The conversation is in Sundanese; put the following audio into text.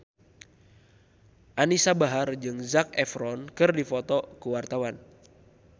Anisa Bahar jeung Zac Efron keur dipoto ku wartawan